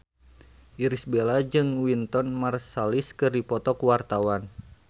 Irish Bella jeung Wynton Marsalis keur dipoto ku wartawan